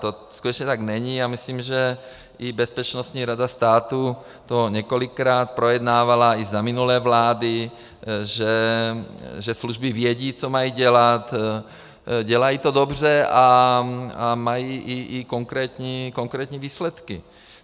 To skutečně tak není a myslím, že i Bezpečnostní rada státu to několikrát projednávala i za minulé vlády, že služby vědí, co mají dělat, dělají to dobře a mají i konkrétní výsledky.